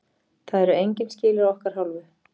Það eru engin skilyrði að okkar hálfu.